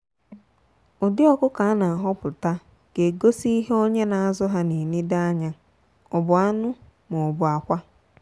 ụdị ọkụkọ a na ahọpụta ga egosi ihe onye na azụ ha na enedo anya ọ bu anụ maọbu akwa.